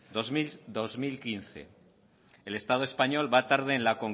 dos mil quince el estado español va tarde